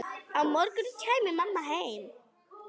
Á morgun kæmi mamma heim.